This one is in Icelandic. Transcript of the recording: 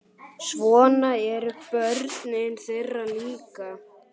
Svona eru börnin þeirra líka.